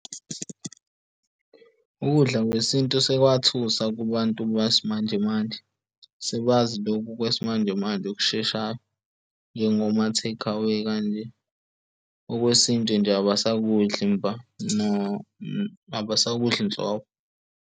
Ukudla kwesintu sekwathusa kubantu besimanjemanje, sebazi lokhu kwesimanjemanje okusheshayo njengo ma-takeaway kanje, okwesintu nje abasakudli imvama abasakudli nhlobo.